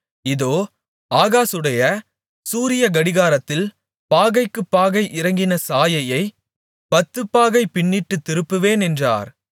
இதோ ஆகாசுடைய சூரியக்கடிகாரத்தில் பாகைக்குப் பாகை இறங்கின சாயையைப் பத்துப்பாகை பின்னிட்டுத் திருப்புவேன் என்றார்